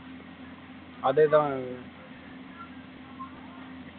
அதேதான்